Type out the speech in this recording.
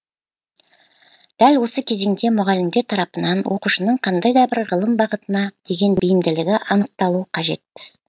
дәл осы кезеңде мұғалімдер тарапынан оқушының қандай да бір ғылым бағытына деген бейімділігі анықталу қажет